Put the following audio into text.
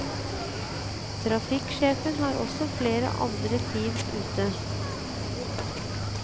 Trafikksjefen har også flere andre team ute.